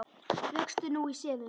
Vöxtur nú í sefinu.